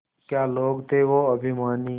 क्या लोग थे वो अभिमानी